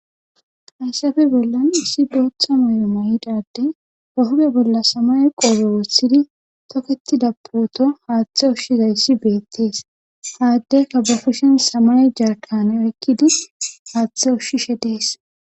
Hayssafe bollan issi bootha mayo mayida addey be huuphe bolla samaye qoobe wothidi tokettida puuto haathe ushizayssi beettes ha addeyka ba kushen samaye jarkkaane oykkidi haathe ushishe dees.